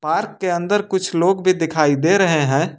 Park के अंदर कुछ लोग भी दिखाई दे रहे हैं।